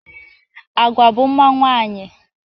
Agwa bụ mma nwaanyị.